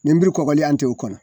Nin be kɔgɔlen an te o kɔnɔ